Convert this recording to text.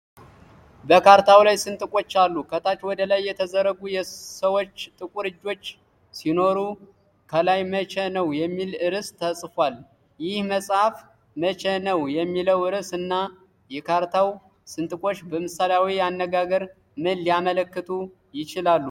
በካርታው ላይ ስንጥቆች አሉ፤ ከታች ወደ ላይ የተዘረጉ የሰዎች ጥቁር እጆች ሲኖሩ፣ ከላይ "መቼ ነው" የሚል ርዕስ ተጽፏል። ይህ መጽሐፍ "መቼ ነው" የሚለው ርዕስ እና የካርታው ስንጥቆች በምሳሌያዊ አነጋገር ምን ሊያመለክቱ ይችላሉ?